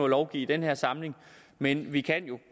lovgive i den her samling men vi kan jo